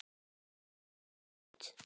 Eins og skot!